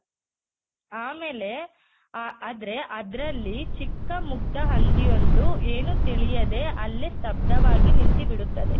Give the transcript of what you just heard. ಆಮೇಲೆ ಆ ಆದ್ರೆ ಆದ್ರಲ್ಲಿ ಚಿಕ್ಕ ಮುಗ್ಧ ಹಂದಿ ಒಂದು ಏನು ತಿಳಿಯದೆ ಅಲ್ಲೇ ಸ್ತಬ್ಧವಾಗಿ ನಿಂತಿಬಿಡುತ್ತದೆ.